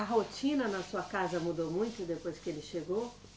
A rotina na sua casa mudou muito depois que ele chegou?